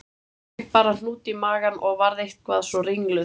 Ég fékk bara hnút í magann og varð eitthvað svo ringluð